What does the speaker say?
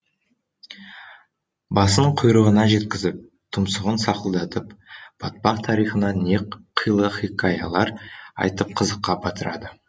басын құйрығына жеткізіп тұмсығын сақылдатып батпақ тарихынан не қилы хикаялар айтып қызыққа батырады